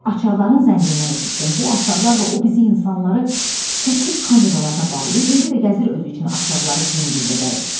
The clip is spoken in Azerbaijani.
Açarların zəngindən eşitdim, bu açarlarla o bizi insanları təklik kameralarına bağlayır, indi də gəzir özü üçün açarları cingildədərək.